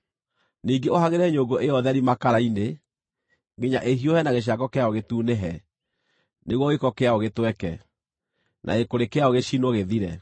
Ningĩ ũhagĩre nyũngũ ĩyo theri makara-inĩ, nginya ĩhiũhe na gĩcango kĩayo gĩtunĩhe, nĩguo gĩko kĩayo gĩtweke, na gĩkũrĩ kĩayo gĩcinwo, gĩthire.